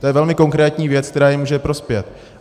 To je velmi konkrétní věc, která jim může prospět.